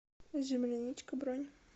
земляничка бронь